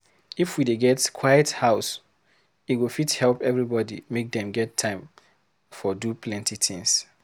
If we dey get quiet house, e go fit help everybody make dem get time for do plenty things.